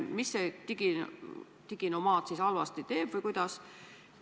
Mida see diginomaad siis halvasti teeb või kuidas?